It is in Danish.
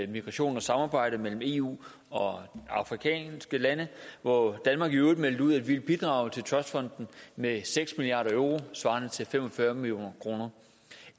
migration og samarbejde mellem eu og afrikanske lande hvor danmark i øvrigt meldte ud at vi vil bidrage til trustfonden med seks million euro svarende til fem og fyrre million kroner